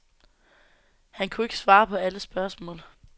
Han kunne ikke svare på alle spørgsmål.